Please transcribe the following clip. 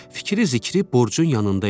Fikri zikri borcun yanında idi.